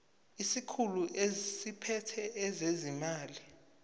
isikhulu esiphethe ezezimali